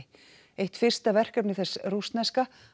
eitt fyrsta verkefni þess rússneska